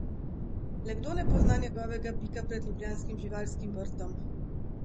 Le kdo ne pozna njegovega bika pred ljubljanskim Živalskim vrtom?